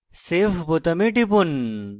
save বোতামে টিপুন